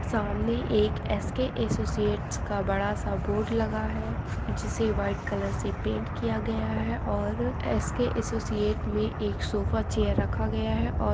सामने एक S _K associates का बड़ा सा लगा है जिसे वाइट कलर से पेंट किया गया है और एस _के अस्सोसिअत में एक सोफे चेयर रखा गया है